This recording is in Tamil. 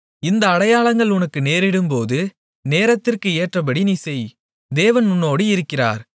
இந்த அடையாளங்கள் உனக்கு நேரிடும்போது நேரத்திற்கு ஏற்றபடி நீ செய் தேவன் உன்னோடு இருக்கிறார்